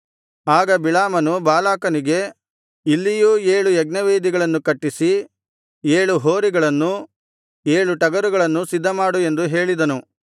ಆಗ ಬಿಳಾಮನು ಬಾಲಾಕನಿಗೆ ಇಲ್ಲಿಯೂ ಏಳು ಯಜ್ಞವೇದಿಗಳನ್ನು ಕಟ್ಟಿಸಿ ಏಳು ಹೋರಿಗಳನ್ನೂ ಏಳು ಟಗರುಗಳನ್ನೂ ಸಿದ್ಧಮಾಡು ಎಂದು ಹೇಳಿದನು